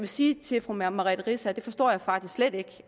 sige til fru merete riisager jeg forstår faktisk slet ikke